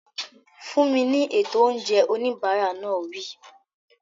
Fún mi ní ètò oúnjẹ! Oníbàárà náà wí.